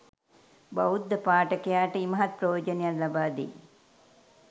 බෞද්ධ පාඨකයාට ඉමහත් ප්‍රයෝජනයක් ලබාදෙයි